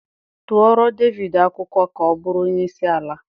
Tụọrọ Devidii akwụkwọ ka ọbụrụ onye isi ala!